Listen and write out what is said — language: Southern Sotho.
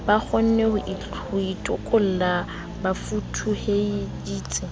ba kgonne ho itokolla bafutuheding